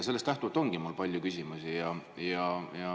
Sellest lähtuvalt ongi mul palju küsimusi.